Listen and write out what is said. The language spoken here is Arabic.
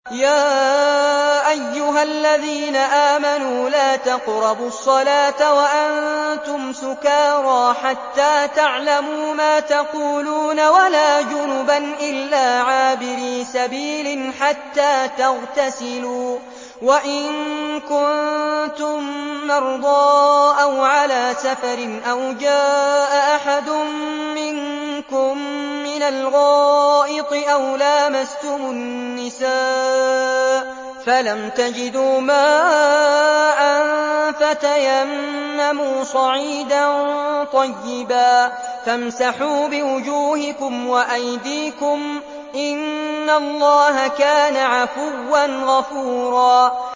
يَا أَيُّهَا الَّذِينَ آمَنُوا لَا تَقْرَبُوا الصَّلَاةَ وَأَنتُمْ سُكَارَىٰ حَتَّىٰ تَعْلَمُوا مَا تَقُولُونَ وَلَا جُنُبًا إِلَّا عَابِرِي سَبِيلٍ حَتَّىٰ تَغْتَسِلُوا ۚ وَإِن كُنتُم مَّرْضَىٰ أَوْ عَلَىٰ سَفَرٍ أَوْ جَاءَ أَحَدٌ مِّنكُم مِّنَ الْغَائِطِ أَوْ لَامَسْتُمُ النِّسَاءَ فَلَمْ تَجِدُوا مَاءً فَتَيَمَّمُوا صَعِيدًا طَيِّبًا فَامْسَحُوا بِوُجُوهِكُمْ وَأَيْدِيكُمْ ۗ إِنَّ اللَّهَ كَانَ عَفُوًّا غَفُورًا